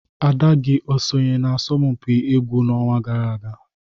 ada gị o sonye n'asọmpi egwu n'ọnwa gara aga